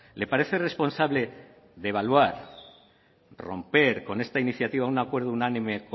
le parece responsable devaluar romper con esta iniciativa un acuerdo unánime